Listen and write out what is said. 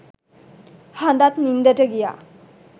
හඳත් නින්දට ගියා